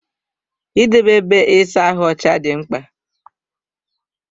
Idebe ébé ịsa ahụ ọcha dị mkpa.